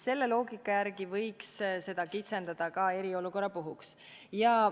Selle loogika järgi võiks seda kitsendada ka eriolukorra puhuks.